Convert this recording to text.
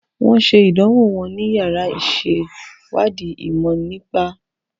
Wọ́n ṣe ìdánwò wọn ní yàrá ìṣèwádìí ìmọ̀ nípa